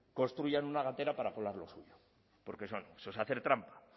construyan una gatera para colar lo suyo porque eso no eso es hacer trampa